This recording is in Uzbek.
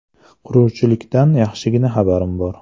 Quruvchilikdan yaxshigina xabarim bor.